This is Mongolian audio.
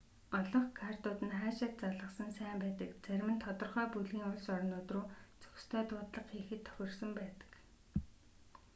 олонх картууд нь хаашаа ч залгасан сайн байдаг зарим нь тодорхой бүлгийн улс орнууд руу зохистой дуудлага хийхэд тохирсон байдаг